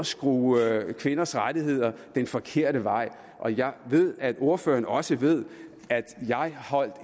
skrue kvinders rettigheder den forkerte vej og jeg ved at ordføreren også ved at jeg holdt